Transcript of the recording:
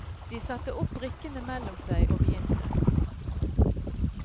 De satte opp brikkene mellom seg og begynte.